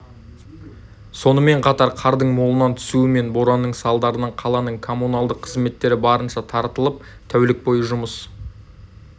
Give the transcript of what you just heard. сонымен қатар қардың молынан түсуі мен боранның салдарынан қаланың коммуналдық қызметтері барынша тартылып тәулік бойы жұмыс